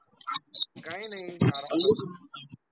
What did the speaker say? काय नाही, आराम चालू